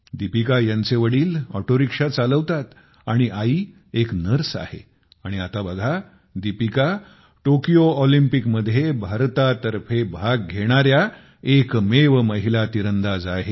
दीपिका ह्यांचे वडील auto rickshaw चालवितात आणि आई एक नर्स आहे आणि आता बघा दीपिका टोकियो ऑलिम्पिकमध्ये भारतातर्फे भाग घेणाऱ्या एकमेव महिला तिरंदाज आहेत